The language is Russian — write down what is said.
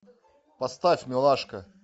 поставь милашка